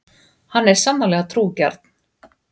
Hann er sannarlega trúgjarn.